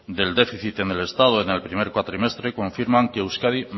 del déficit en el estado en el primer cuatrimestre confirman que euskadi